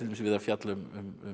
við að fjalla um